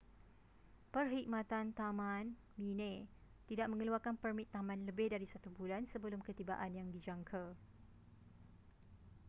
perkhidmatan taman minae tidak mengeluarkan permit taman lebih dari satu bulan sebelum ketibaan yang dijangka